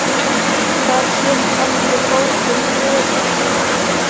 Hvað hét aftur bókin yðar?